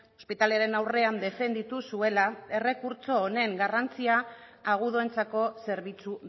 ospitalearen aurrean defenditu zuela errekurtso honen garrantzia agudoentzako zerbitzu